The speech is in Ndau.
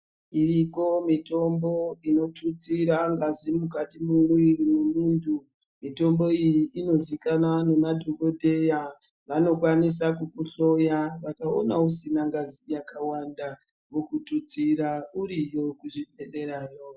Iriko mitombo inotutsira ngazi mukati mwemwiri wemuntu . Mitombo iyi inozikanwa ngemadhokodheya. Vanokwanisa kukuhloya vakaona usina ngazi yakawanda vokututsira iriyo kuzvibhedhlerayo.